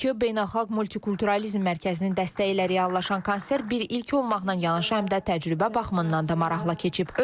Bakı Beynəlxalq Multikulturalizm Mərkəzinin dəstəyi ilə reallaşan konsert bir ilki olmaqla yanaşı həm də təcrübə baxımından da maraqlı keçib.